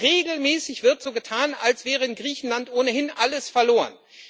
Aber regelmäßig wird so getan, als wäre in Griechenland ohnehin alles verloren.